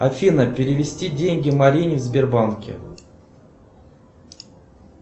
афина перевести деньги марине в сбербанке